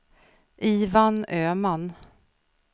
Ivan Öman